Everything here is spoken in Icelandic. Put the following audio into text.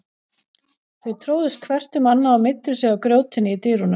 Þau tróðust hvert um annað og meiddu sig á grjótinu í dyrunum.